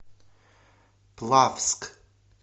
плавск